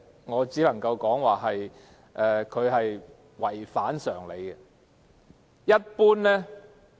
我只能說她的話違反常理。